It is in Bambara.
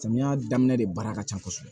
Samiya daminɛ de baara ka ca kosɛbɛ